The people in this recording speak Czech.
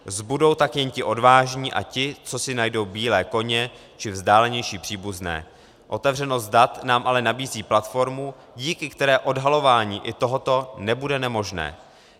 Zbudou tak jen ti odvážní a ti, co si najdou bílé koně či vzdálenější příbuzné - otevřenost dat nám ale nabízí platformu, díky které odhalování i tohoto nebude nemožné.